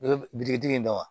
U bɛ bitikitigi in da